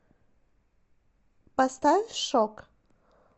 поставь шокк